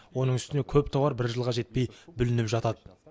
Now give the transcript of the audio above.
оның үстіне көп тауар бір жылға жетпей бүлініп жатады